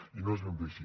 i no és ben bé així